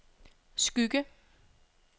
Skygge